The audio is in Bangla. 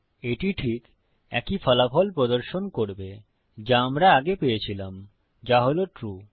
এটি ঠিক একই ফলাফল প্রদর্শন করবে যা আমরা আগে পেয়েছিলাম যা হল ট্রু